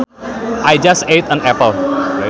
I just ate an apple